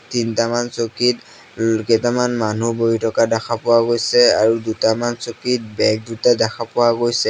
তিনিটামান চকীত ওম কেইটামান মানুহ বহি থকা দেখা পোৱা গৈছে আৰু দুটামান চকীত বেগ দুটা দেখা পোৱা গৈছে।